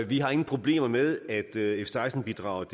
vi har ingen problemer med at f seksten bidraget